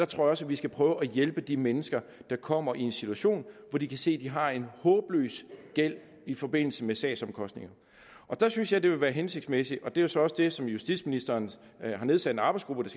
tror også at vi skal prøve at hjælpe de mennesker der kommer i en situation hvor de kan se at de har en håbløs gæld i forbindelse med sagsomkostninger der synes jeg det ville være hensigtsmæssigt og det er så også det som justitsministeren har nedsat en arbejdsgruppe